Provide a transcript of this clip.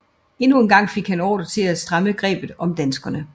Endnu en gang fik han ordre til at stramme grebet om danskerne